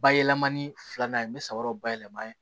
Bayɛlɛmani filanan ye n bɛ sabara bayɛlɛma yen